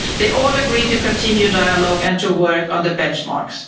They have all agreed to continue dialogue and to work on the benchmarks.